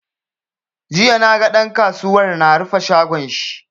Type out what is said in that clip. Jiya naga ɗan kasuwar na rufe shagon shi.